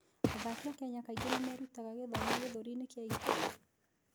Athaki a Kenya kaingĩ nĩ merutaga gĩthomo gĩthũri-inĩ kĩa Iten ⁇.